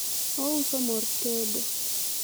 ouso mor tedo